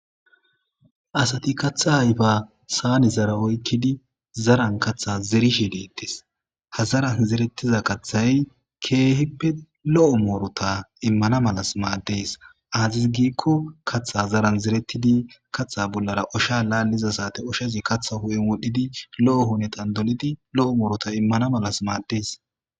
asati katha ayifa saanezara oykkidi zaran katha zerishi deettes hazaran zerettiza kathay keehippe lo'o muruta immana malas maaddes azis giikko kaththa zaran zerettidi katha bollara osha laalliza sate oshazi katha hu'en wodhdhidi lo'o hunetan dolidi lo'o muuruta immana malas maaddees